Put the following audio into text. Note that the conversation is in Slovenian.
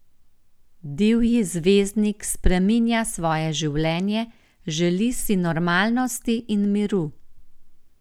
Divji zvezdnik spreminja svoje življenje, želi si normalnosti in miru.